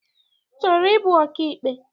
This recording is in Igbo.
Ị chọrọ ịbụ ọkaikpe?